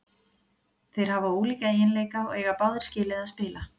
Þeir hafa ólíka eiginleika og eiga báðir skilið að spila.